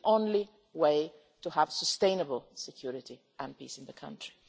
This is the only way to have sustainable security and peace in the country.